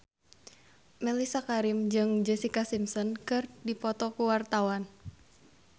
Mellisa Karim jeung Jessica Simpson keur dipoto ku wartawan